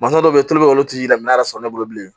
Masa dɔw bɛ yen tulu bɛ olu t'i lamɛn ala sɔnna ne bolo bilen